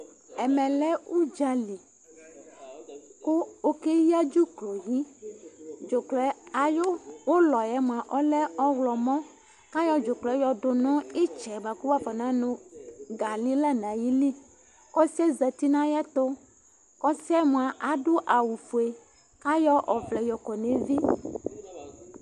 ɛmɛlɛ udzali ku okeya dzublɔyi, dzublɔ ayi uluɛ lɛ ɔyɔmɔ ku ayɔ dzublɔɛ yɔ du nu itsɛ li ku afɔnanu gali ɔsiɛ ya na tu kɔsiɛ mía awu ofue kɔayɔ ɔʋlɛ kɔ nu evi